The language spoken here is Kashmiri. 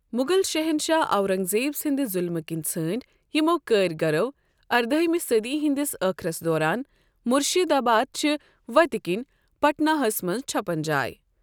مغل شَہنٛشاہ، اورنٛگ زیب سٕنٛدِ ظُلمہِ کِنۍ ژھٲنڈۍ یِمو کٲرِگَرو اردٔہِمہِ صٔدی ہِنٛدِس ٲخرس دوران مُرشِداباد چہِ وَتہِ کِنۍ پٹناہس منٛز چھپن جاے۔